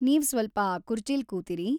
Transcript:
ನೀವ್‌ ಸ್ವಲ್ಪ ಆ ಕುರ್ಚಿಲ್ ಕೂತಿರಿ.